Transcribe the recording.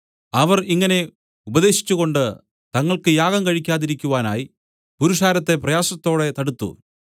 അവർ ഇങ്ങനെ ഉപദേശിച്ചുകൊണ്ട് തങ്ങൾക്ക് യാഗം കഴിക്കാതിരിക്കുവാനായി പുരുഷാരത്തെ പ്രയാസത്തോടെ തടുത്തു